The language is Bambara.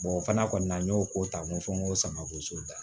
o fana kɔni na n y'o ko ta mun fɔ n ko samakoso da